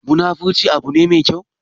Munafurci abu ne me kyau?